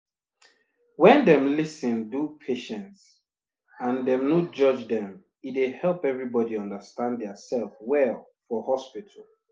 wen dem lis ten do patients and dem no judge dem e dey help everybody understand dia sef well for hospital